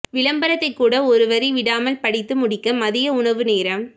விளம்பரத்தை கூட ஒருவரி விடாமல் படித்து முடிக்க மதிய உணவு நேரம்